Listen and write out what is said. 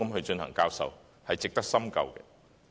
這點值得深究。